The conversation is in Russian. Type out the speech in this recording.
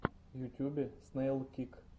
в ютьюбе снэйлкик